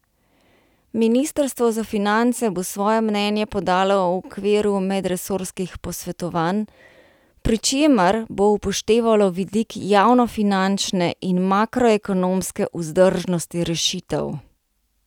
Ministrstvo za finance bo svoje mnenje podalo v okviru medresorskih posvetovanj, pri čemer bo upoštevalo vidik javnofinančne in makroekonomske vzdržnosti rešitev.